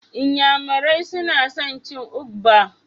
N'yamarai suna son cin ugba.